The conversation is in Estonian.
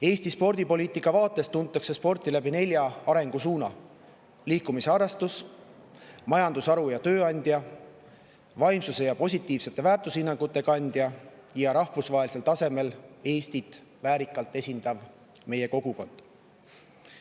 Eesti spordipoliitika vaates tuntakse sporti nelja arengusuuna põhjal: sport kui liikumisharrastus, sport kui majandusharu ja tööandja, sport kui vaimsuse ja positiivsete väärtushinnangute kandja ning sportlased kui Eestit rahvusvahelisel tasemel väärikalt esindav kogukond.